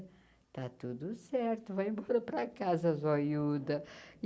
Está tudo certo, vai embora para casa zoiúda.